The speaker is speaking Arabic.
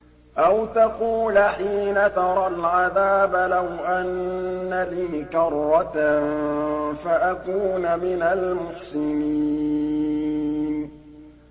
أَوْ تَقُولَ حِينَ تَرَى الْعَذَابَ لَوْ أَنَّ لِي كَرَّةً فَأَكُونَ مِنَ الْمُحْسِنِينَ